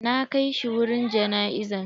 Na kai shi wurin jana'izan.